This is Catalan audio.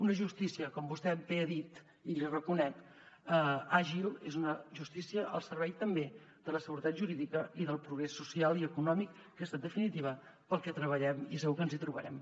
una justícia com vostè bé ha dit i l’hi reconec àgil és una justícia al servei també de la seguretat jurídica i del progrés social i econòmic que és en definitiva pel que treballem i segur que ens hi trobarem